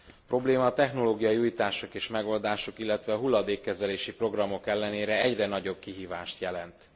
A probléma a technológiai újítások és megoldások, illetve a hulladékkezelési programok ellenére egyre nagyobb kihívást jelent.